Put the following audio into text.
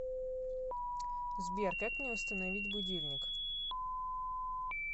сбер как мне установить будильник